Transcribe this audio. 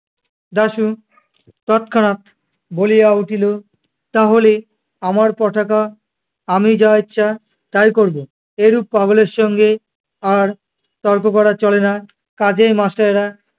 দাশু তৎক্ষণাৎ বলিয়া উঠিল, তাহলে আমার পটাকা আমি যা ইচ্ছা তাই করবো। এরূপ পাগলের সঙ্গে আর তর্ক করা চলে ন্‌ কাজেই master এরা